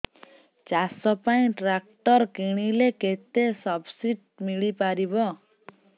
ଚାଷ ପାଇଁ ଟ୍ରାକ୍ଟର କିଣିଲେ କେତେ ସବ୍ସିଡି ମିଳିପାରିବ